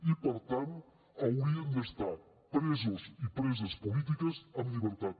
i per tant haurien d’estar presos i preses polítiques en llibertat